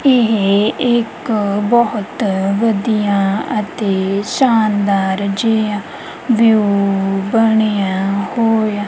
ਏਹ ਇੱਕ ਬਹੁਤ ਵਧੀਆ ਅਤੇ ਸ਼ਾਨਦਾਰ ਜੀਆ ਵਿਊ ਬਣਿਆ ਹੋਇਆ--